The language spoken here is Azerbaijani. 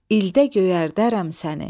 İldə göyərdərəm səni.